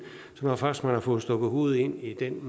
så når først man har fået stukket hovedet ind i den